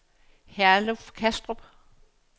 Herluf Kastrup